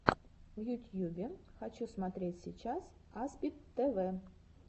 в ютьюбе хочу смотреть сейчас аспид тв